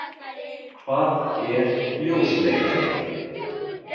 Hvað er ljósleiðari?